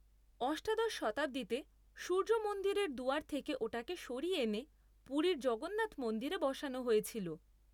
অষ্টাদশ শতাব্দীতে সূর্য মন্দিরের দুয়ার থেকে ওটাকে সরিয়ে এনে পুরীর জগন্নাথ মন্দিরে বসানো হয়েছিল।